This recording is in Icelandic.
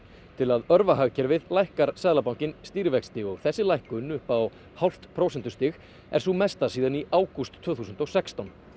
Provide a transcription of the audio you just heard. til að örva hagkerfið lækkar Seðlabankinn stýrivexti og þessi lækkun upp á hálft prósentustig er sú mesta síðan í ágúst tvö þúsund og sextán